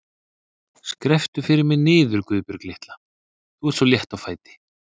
Skrepptu fyrir mig niður, Guðbjörg litla, þú ert svo létt á fæti.